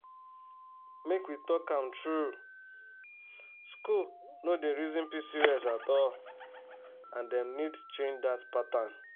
make we talk am true school no dey reason pcos at all and dem need change that pattern.